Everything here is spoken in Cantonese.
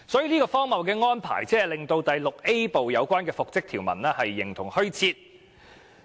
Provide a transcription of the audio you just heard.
如此荒謬的安排，令第 VIA 部的復職條文形同虛設。